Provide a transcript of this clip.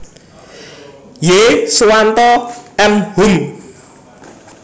Y Suwanto M Hum